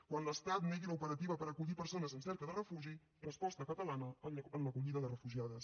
quan l’estat negui l’operativa per acollir persones en cerca de refugi resposta catalana en l’acollida de refugiades